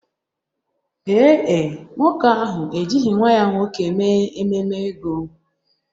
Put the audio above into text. Ee e, nwoke ahụ ejighị nwa ya nwoke mee ememe ego.